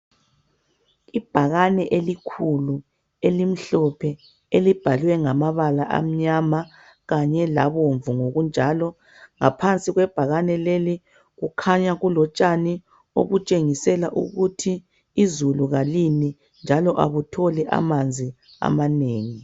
Ibhakane elikhulu elimhlophe elibhalwe ngamabala amnyama kanye labomvu ngokunjalo. Ngaphansi kwebhakane leli kukhanya kulotshani okutshengisela ukuthi izulu kalini njalo akutholi amanzi amanengi.